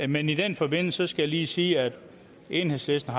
men i den forbindelse skal jeg lige sige at enhedslisten